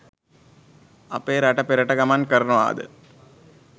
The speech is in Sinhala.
අපේ රට පෙරට ගමන් කරනවා ද